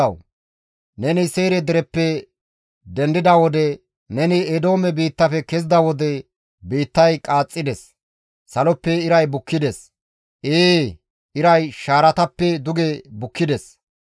«Abeet GODAWU! Neni Seyre dereppe dendida wode, neni Eedoome biittafe kezida wode, biittay qaaxxides. Saloppe iray bukkides; ee, iray shaaratappe duge bukkides.